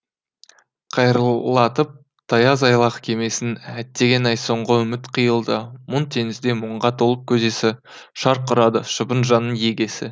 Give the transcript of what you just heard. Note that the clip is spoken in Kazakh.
қайырлатып таяз айлақ кемесін әттеген ай соңғы үміт қиылды мұң теңізде мұңға толып көзесі шарқ ұрады шыбын жанның егесі